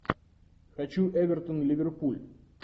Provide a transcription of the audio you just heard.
хочу эвертон ливерпуль